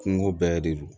Kungo bɛɛ de don